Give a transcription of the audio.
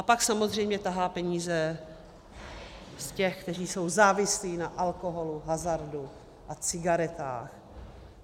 A pak samozřejmě tahá peníze z těch, kteří jsou závislí na alkoholu, hazardu a cigaretách.